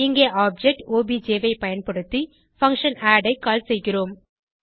இங்கே object obj ஐ பயன்படுத்தி பங்ஷன் ஆட் ஐ கால் செய்கிறோம்